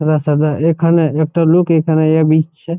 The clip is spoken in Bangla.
সাদা সাদা এখানে একটা লোক এখানে এ বিচছে ।